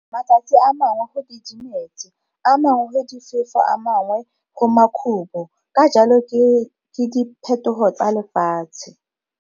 Matsatsi mangwe go didimetse, a mangwe go difefo a mangwe go makhubo, ka jalo ke di phetogo tsa lefatshe!